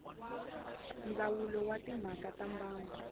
ndzawulo wa timhaka ta mbango